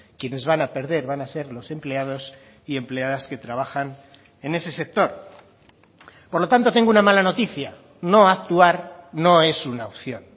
quienes van a perder van a ser los empleados y empleadas que trabajan en ese sector por lo tanto tengo una mala noticia no actuar no es una opción